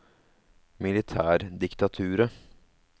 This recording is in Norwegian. militærdiktaturet